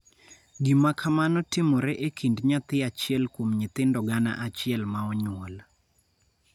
Gima kamano timore e kind nyathi achiel kuom nyithindo gana achiel ma onyuol.